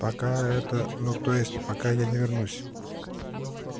пока это ну то есть пока я не вернусь